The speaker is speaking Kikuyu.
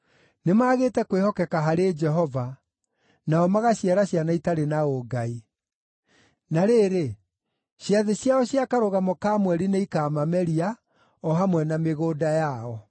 Nĩmagĩte kwĩhokeka harĩ Jehova; nao magaciara ciana itarĩ na ũngai. Na rĩrĩ, ciathĩ ciao cia Karũgamo ka Mweri nĩikaamameria, o hamwe na mĩgũnda yao.